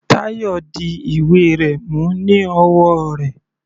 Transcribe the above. Tayo di ìwé rẹ̀ mú ní ọwọ́ rẹ̀.